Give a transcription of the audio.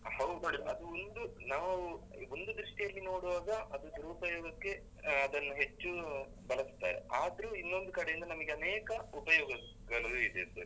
ಹೌದ್ ನೋಡಿ. ಅದೊಂದು ನಾವ್ ಒಂದು ದೃಷ್ಟಿಯಲ್ಲಿ ನೋಡ್ವಾಗ ಅದು ದುರುಪಯೋಗಕ್ಕೆ ಅಹ್ ಅದನ್ನು ಹೆಚ್ಚು ಬಳಸ್ತಾರೆ. ಆದ್ರೂ ಇನ್ನೊಂದು ಕಡೆಯಿಂದ ನಮ್ಗೆ ಅನೇಕ ಉಪಯೊಗಗಳೂ ಇದೆ sir